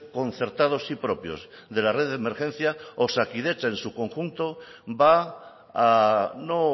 concertados y propios de la red de emergencia osakidetza en su conjunto va no